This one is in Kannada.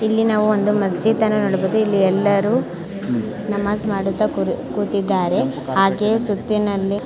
ಇಲ್ಲಿ ನಾವು ಒಂದು ಮಸೀದಿಯನ್ನು ನೋಡಬಹುದು ಇಲ್ಲಿ ಎಲ್ಲರು ನಮಾಜ್ ಮಾಡುತ್ತ ಕೂ ಕೂತಿದ್ದಾರೆ ಹಾಗೆ ಸುತ್ತಿನಲ್ಲಿ --